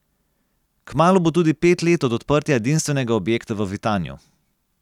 Kmalu bo tudi pet let od odprtja edinstvenega objekta v Vitanju.